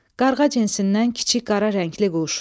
Qarğa cinsindən kiçik qara rəngli quş.